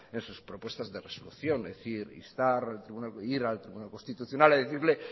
en sus propuestas de resolución es decir instar o ir al tribunal constitucional a decirle